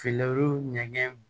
Finman ɲɛgɛn